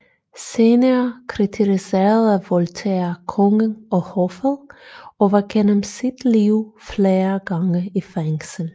Senere kritiserede Voltaire kongen og hoffet og var gennem sit liv flere gange i fængsel